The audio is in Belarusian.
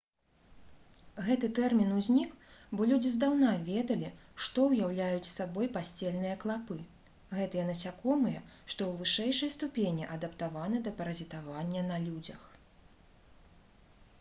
гэты тэрмін узнік бо людзі здаўна ведалі што ўяўляюць сабой пасцельныя клапы гэтыя насякомыя што ў вышэйшай ступені адаптаваны да паразітавання на людзях